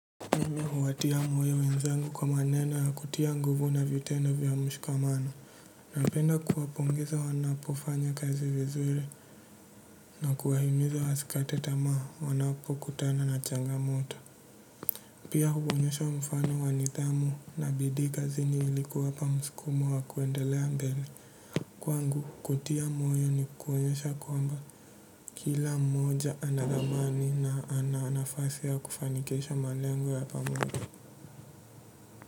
Mimi huwatia moyo wenzangu kwa maneno ya kutia nguvu na vitendo vya mshikamano napenda kuwapongeza wanapofanya kazi vizuri na kuwahimiza wasikate tamaa wanapokutana na changamoto pia huonyesha mfano wa nithamu na bidii kazini ili kuwapa msukumo wa kuendelea mbele kwangu kutia moyo ni kuonyesha kwamba kila mmoja ana dhamani na ana nafasi ya kufanikisha malengo ya pamoja kwa hivyo.